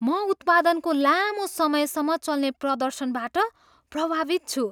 म उत्पादनको लामो समयसम्म चल्ने प्रदर्शनबाट प्रभावित छु।